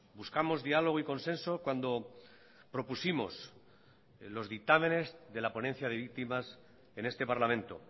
buscamos diálogo y consenso cuando propusimos los dictámenes de la ponencia de víctimas en este parlamento